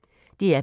DR P1